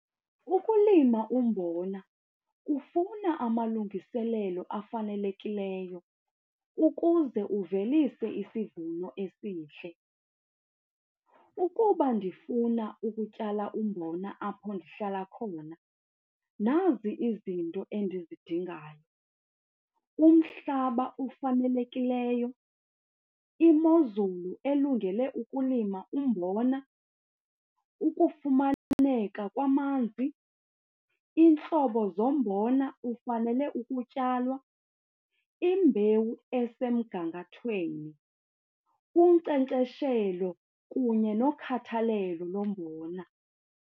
Ukulima umbona kufuna amalungiselelo afanelekileyo ukuze uvelise isivuno esihle. Ukuba ndifuna ukutyala umbona apho ndihlala khona nazi izinto endizidingayo. Umhlaba ofanelekileyo, imozulu elungele ukulima umbona, ukufumaneka kwamanzi, iintlobo zombona ofanele ukutyalwa, imbewu esemgangathweni, unkcenkceshelo kunye nokhathalelo lo mbona.